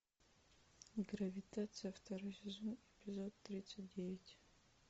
гравитация второй сезон эпизод тридцать девять